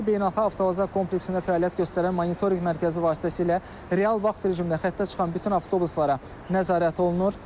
Bakı Beynəlxalq Avtovağzal kompleksində fəaliyyət göstərən monitorinq mərkəzi vasitəsilə real vaxt rejimində xəttə çıxan bütün avtobuslara nəzarət olunur.